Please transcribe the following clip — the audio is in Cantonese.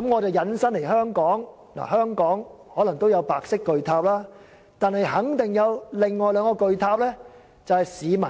在香港，可能也有白色巨塔，但肯定還有另外兩個市民